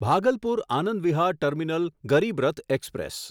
Bhagalpur Anand Vihar terminal Garib Rath express